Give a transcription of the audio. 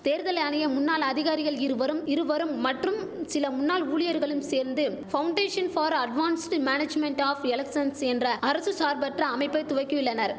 தேர்தல் ஆணைய முன்னாள் அதிகாரிகள் இருவரும் இருவரும் மற்றும் சில முன்னாள் ஊழியர்களும் சேர்ந்து foundation for advanced management of elections என்ற அரசு சார்பற்ற அமைப்பை துவக்கியுள்ளனர்